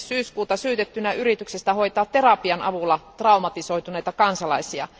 10. syyskuuta syytettynä yrityksestä hoitaa terapian avulla traumatisoituneita kansalaisia.